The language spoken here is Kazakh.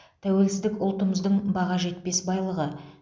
тәуелсіздік ұлтымыздың баға жетпес байлығы